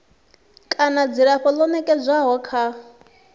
kana dzilafho ḽo nekedzwaho kha